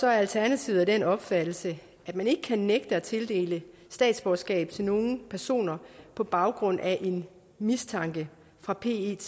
er alternativet af den opfattelse at man ikke kan nægte at tildele statsborgerskab til nogle personer på baggrund af en mistanke fra pet